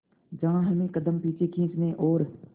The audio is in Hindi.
जहां हमें कदम पीछे खींचने और